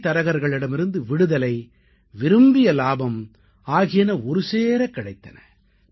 இடைத்தரகர்களிடமிருந்து விடுதலை விரும்பிய லாபம் ஆகியன ஒருசேரக் கிடைத்தன